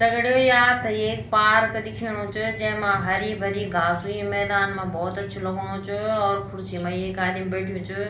दगडियों ये आपथे एक पार्क दिखेणु च जैमा हरी भरी घास हुईं मैदान मा भौत अच्छू लगणु च और खुर्सी मा एक आदिम बैठ्युं च।